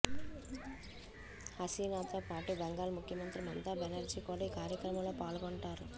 హసీనాతో పాటు బెంగాల్ ముఖ్యమంత్రి మమతా బెనర్జీ కూడా ఈ కార్యక్రమంలో పాల్గొంటారు